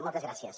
moltes gràcies